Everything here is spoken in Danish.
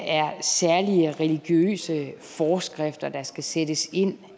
er særlige religiøse forskrifter der skal sættes ind